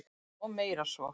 Og meira en svo.